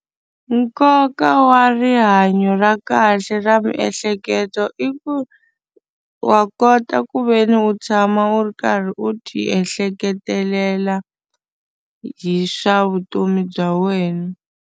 Nkoka wa rihanyo ra kahle ra miehleketo i ku wa kota ku ve ni u tshama u ri karhi u tiehleketelela hi swa vutomi bya wena.